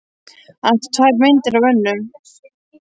Hann átti tvær myndir af Önnu.